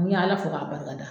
N y'Ala fo k'a barika da